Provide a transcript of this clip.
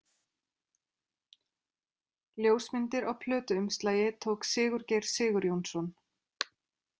Ljósmyndir á plötuumslagi tók Sigurgeir Sigurjónsson.